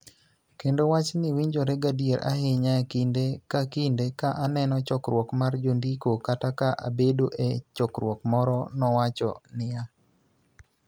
kendo wachni winjore gadier ahinya kinde ka kinde ka aneno chokruok mar jondiko kata ka abedo e chokruok moro, nowacho niya.